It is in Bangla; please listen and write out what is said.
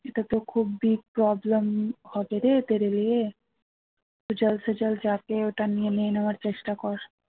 এটাতো খুব big problem হবে রে ওটা নিয়ে নেওয়ার চেষ্টা কর